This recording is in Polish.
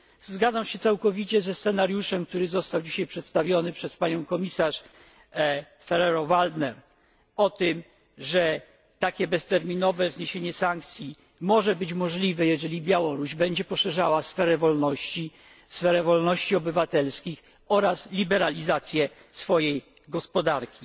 słowa. Zgadzam się całkowicie ze scenariuszem, który został dzisiaj przedstawiony przez panią komisarz Ferrero Waldner, o tym, że takie bezterminowe zniesienie sankcji może być możliwe, jeżeli Białoruś będzie poszerzała sferę wolności, sferę wolności obywatelskich oraz liberalizację swojej gospodarki.